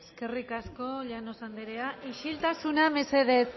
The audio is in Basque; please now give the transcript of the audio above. eskerrik asko llanos andrea isiltasuna mesedez